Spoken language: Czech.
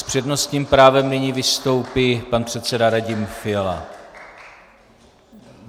S přednostním právem nyní vystoupí pan předseda Radim Fiala.